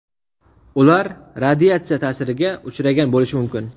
Ular radiatsiya ta’siriga uchragan bo‘lishi mumkin.